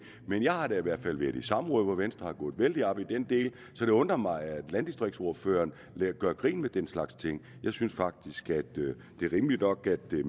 men jeg har da i hvert fald været i samråd hvor venstre er gået vældig meget op i den del så det undrer mig at landdistriktsordføreren gør grin med den slags ting jeg synes faktisk at det er rimeligt nok at det